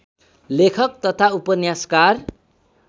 लेखक तथा उपन्यासकार